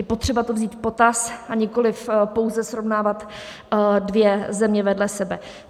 Je potřeba to vzít v potaz, a nikoliv pouze srovnávat dvě země vedle sebe.